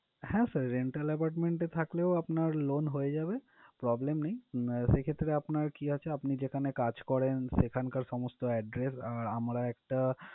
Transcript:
হ্যাঁ sir rental apartment এ থাকলেও আপনার loan হয়ে যাবে, problem নেই। সেক্ষেত্রে আপনার কি আছে, আপনি যেখানে কাজ করেন সেখানকার সমস্ত address আহ আমরা একটা